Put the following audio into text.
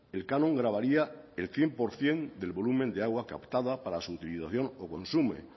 el canon gravaría el cien por ciento del volumen de agua captada para su utilización o